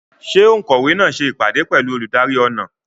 Ṣé òǹkọ̀wé náà ṣe ìpàdé pẹ̀lú olùdarí ọnà?